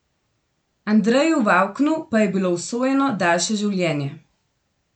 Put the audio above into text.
Andreju Vavknu pa je bilo usojeno daljše življenje.